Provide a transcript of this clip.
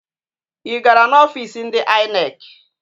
Ị gara n'ọfiisi ndị INEC?